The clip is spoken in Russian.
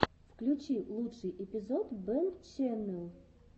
включи лучший эпизод бэнччэннел